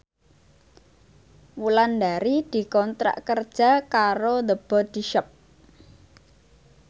Wulandari dikontrak kerja karo The Body Shop